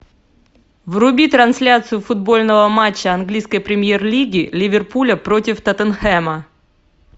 вруби трансляцию футбольного матча английской премьер лиги ливерпуля против тоттенхэма